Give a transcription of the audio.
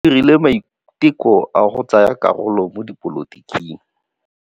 O dirile maitekô a go tsaya karolo mo dipolotiking.